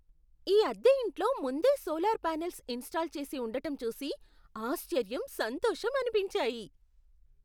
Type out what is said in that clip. ఈ అద్దె ఇంట్లో ముందే సోలార్ పానెల్స్ ఇన్స్టాల్ చేసి ఉండటం చూసి ఆశ్చర్యం, సంతోషం అనిపించాయి.